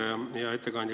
Hea ettekandja!